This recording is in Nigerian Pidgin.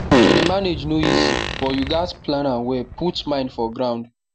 to dey manage no easy but you gat plan am well put mind for ground